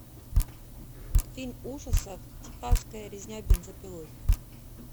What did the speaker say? фильм ужасов техасская резня бензопилой